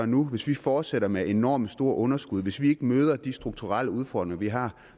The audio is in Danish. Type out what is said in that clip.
nu hvis vi fortsætter med enormt store underskud hvis vi ikke møder de strukturelle udfordringer vi har